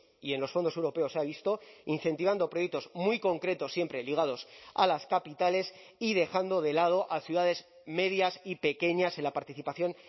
y en los fondos europeos se ha visto incentivando proyectos muy concretos siempre ligados a las capitales y dejando de lado a ciudades medias y pequeñas en la participación